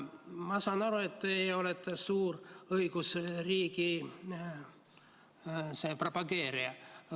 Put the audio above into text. Ma saan aru, et teie olete suur õigusriigi propageerija.